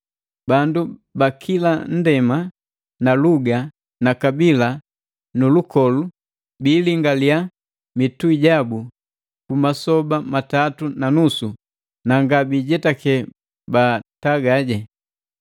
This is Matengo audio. Bandu bakila nndema na luga na kabila nu lukolu biilingaliya mitui jabu ku masoba matatu na nusu, na ngabijetake baataga.